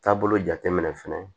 Taabolo jate minɛ fɛnɛ